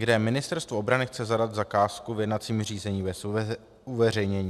, kde Ministerstvo obrany chce zadat zakázku v jednacím řízení bez uveřejnění.